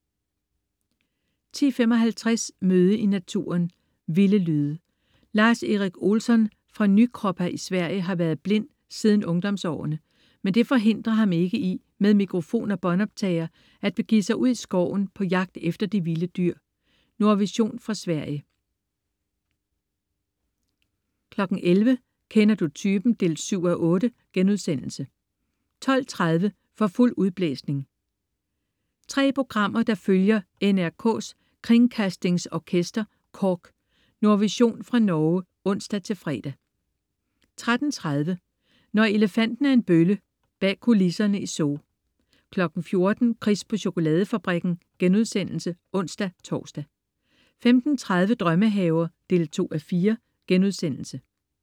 10.55 Møde i naturen: Vilde lyde. Lars-Erik Olsson fra Nykroppa i Sverige har været blind siden ungdomsårene, men det forhindrer ham ikke i med mikrofon og båndoptager at begive sig ud i skoven på jagt efter de vilde dyr. Nordvision fra Sverige 11.00 Kender du typen? 7:8* 12.30 For fuld udblæsning. 3 programmer, der følger NRKs Kringkastningsorkester, KORK. Nordvision fra Norge (ons-fre) 13.30 Når elefanten er en bølle. Bag kulisserne i Zoo 14.00 Chris på chokoladefabrikken* (ons-tors) 15.30 Drømmehaver 2:4*